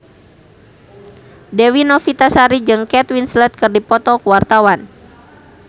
Dewi Novitasari jeung Kate Winslet keur dipoto ku wartawan